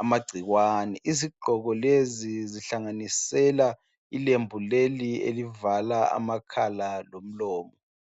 amagcikwane. Izigqoko lezi, zihlanganisela ilembu leli elivala amakhala lomlomo.